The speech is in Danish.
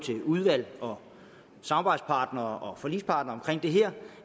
udvalg samarbejdspartnere og forligspartnere omkring det her